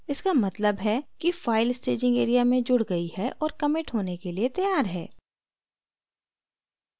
इसका मतलब है कि file staging area में जुड़ गयी है और कमिट प्रतिबद्ध होने के लिए तैयार है